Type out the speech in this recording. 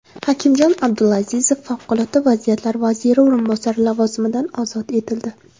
Hakimjon Abdulazizov Favqulodda vaziyatlar vaziri o‘rinbosari lavozimidan ozod etildi.